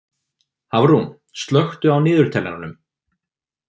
Hafrún, slökktu á niðurteljaranum.